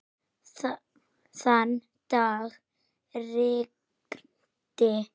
Þann dag rigndi.